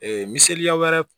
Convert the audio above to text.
Ee miseliya wɛrɛ